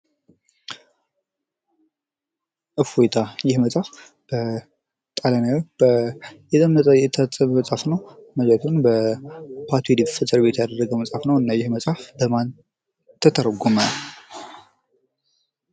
እፎይታ ይህ መጽሃፍ በጣሊያናዊ የታተመ መጽሀፍ ነው። ማለትም እና ይህ መጽሃፍ በማን ተተረጎመ?